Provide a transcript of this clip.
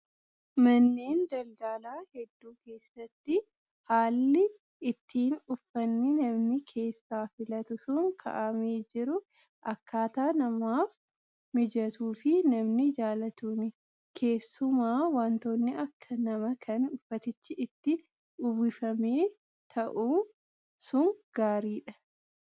Manneen daldalaa hedduu keessatti haalli ittiin uffanni namni keessaa filatu sun kaa'amee jiru akkaataa namaaf mijatuu fi namni jaallatuuni. Keessumaa wantoonni akka namaa kan uffatichi itti uwwifamee taa'u sun gaariidha.